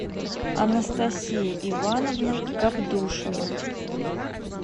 анастасия ивановна габдушева